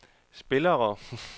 spillere